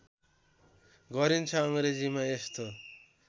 गरिन्छ अङ्ग्रेजीमा यस्तो